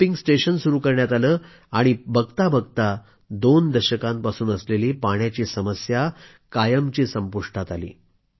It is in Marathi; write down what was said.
पंपिंग स्टेशन सुरू करण्यात आलं आणि पहाता पहाता दोन दशकापासून असलेली पाण्याची समस्या कायमची संपुष्टात आली